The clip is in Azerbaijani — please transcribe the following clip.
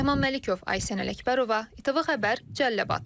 Rəhman Məlikov, Aysən Ələkbərova, İTV Xəbər, Cəlilabad.